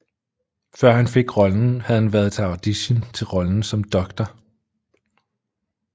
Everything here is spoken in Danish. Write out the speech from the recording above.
Før han fik rollen havde han været til audition til rollen som Dr